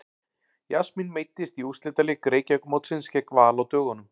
Jasmín meiddist í úrslitaleik Reykjavíkurmótsins gegn Val á dögunum.